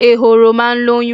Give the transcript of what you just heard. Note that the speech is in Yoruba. Ehoro máa ń lóyún.